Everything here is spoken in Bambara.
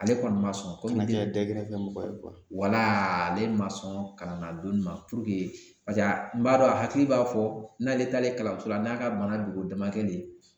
Ale kɔni ma sɔn ale yɛrɛ ye dagɛrɛkɛ mɔgɔ ye ale ma sɔn kalan don nin ma paseke n b'a dɔn a hakili b'a fɔ n'ale taalen kalanso la n'a ka bana dogo damakɛ de ye